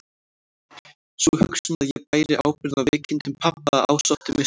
Sú hugsun að ég bæri ábyrgð á veikindum pabba ásótti mig stöðugt.